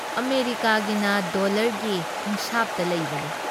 ꯑꯃꯦꯔꯤꯀꯥꯒꯤꯅ ꯗꯣꯜꯂꯔꯒꯤ ꯍꯤꯁꯥꯕꯇ ꯂꯩꯕꯅꯤ ꯫